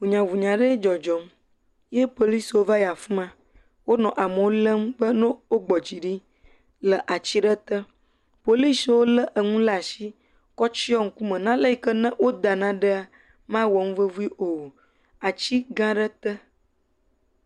Ʋunyaʋunya ɖe dzɔdzɔm ye poliswo va yi afi ma. Wonɔ amewo lém be no wogbɔ dzi ɖi le atsi aɖe te. Poliswo lé eŋu le ashi kɔ tsyiɔ ŋkume. Nane yi ke ne woda naɖea mawɔ nuvevi o. Atsi gã aɖe te.